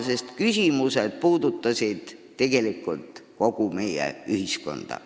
Need küsimused puudutasid ju tegelikult kogu meie ühiskonda.